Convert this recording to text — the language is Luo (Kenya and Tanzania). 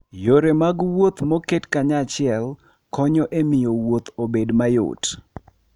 Yore mag wuoth moket kanyachiel konyo e miyo wuoth obed mayot.